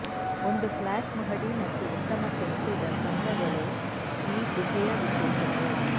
ಒಂದು ಫ್ಲಾಟ್ ಮಹಡಿ ಮತ್ತು ಉತ್ತಮ ಕೆತ್ತಿದ ಕಂಬಗಳು ಈ ಗುಹೆಯ ವಿಶೇಷತೆ